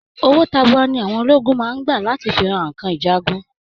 Owo tabua ni àwọn ọmọ ológun máa ń gbà láti fi ra nǹkan ìjagun